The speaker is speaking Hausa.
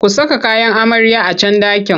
Ku saka kayan amaryar a can ɗakin!